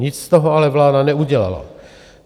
Nic z toho ale vláda neudělala.